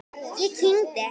Ég kyngi.